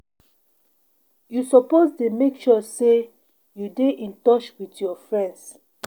You suppose dey make sure sey you dey in touch wit your friends.